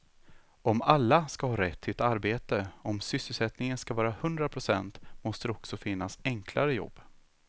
Om alla ska ha rätt till ett arbete, om sysselsättningen ska vara hundra procent måste det också finnas enklare jobb.